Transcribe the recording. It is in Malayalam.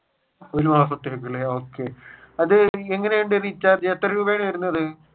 ഒരു മാസത്തേക്ക് അല്ലെ okay അതെങ്ങനെയുണ്ട് റീചാർജ് ചെയ്യാൻ എത്ര രൂപയാണ് വരുന്നത്?